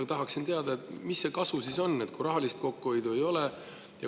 Ma tahaksin ikkagi teada, mis see kasu siis on, kui rahalist kokkuhoidu ei ole.